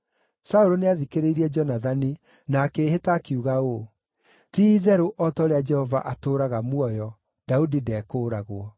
Saũlũ nĩathikĩrĩirie Jonathani na akĩĩhĩta akiuga ũũ: “Ti-itherũ o ta ũrĩa Jehova atũũraga muoyo, Daudi ndekũũragwo.”